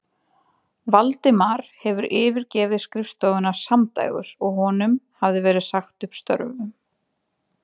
Valdimar hefði yfirgefið skrifstofuna samdægurs og honum hafði verið sagt upp störfum.